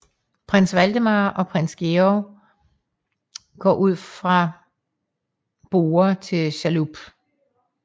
Prins Valdemar og prins Georg går fra borde til chalup